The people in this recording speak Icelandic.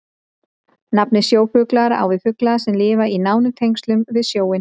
Nafnið sjófuglar á við fugla sem lifa í nánum tengslum við sjóinn.